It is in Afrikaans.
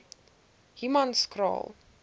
humanskraal